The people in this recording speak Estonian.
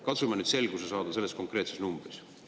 Katsume nüüd selguse saada selles konkreetses numbris.